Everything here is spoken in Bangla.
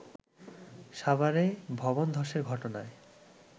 সাভারে ভবন ধসের ঘটনায়